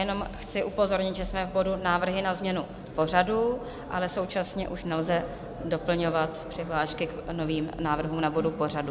Jenom chci upozornit, že jsme v bodu návrhy na změnu pořadu, ale současně už nelze doplňovat přihlášky k novým návrhům na body pořadu.